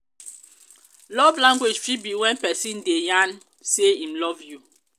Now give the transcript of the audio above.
love language fit be when persin de yarn say im love you